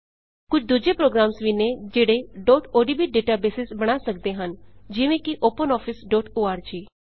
ਕੁਝ ਦੂਜੇ ਪ੍ਰੋਗਰਾਮ ਵੀ ਨੈ ਜਿਹੜੇ odb ਡੇਟਬੇਸਿਜ਼ ਬਣਾ ਸੱਕਦੇ ਹਨ ਜਿਵੇਂ ਕਿ openofficeਓਰਗ